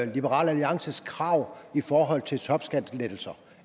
liberal alliances krav i forhold til topskattelettelser